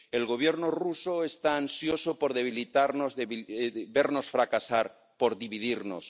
El Gobierno ruso está ansioso por debilitarnos, por vernos fracasar, por dividirnos.